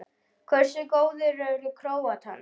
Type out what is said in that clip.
Hversu góðir eru Króatarnir?